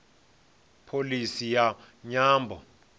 na pholisi ya nyambo